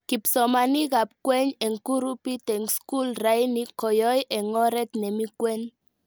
Kipsomaninikab kwen eng kurupit eng skul raini koyoe, eng oret nemi kwen